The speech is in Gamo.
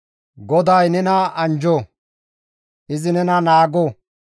‹GODAY nena anjjo; izi nena naago;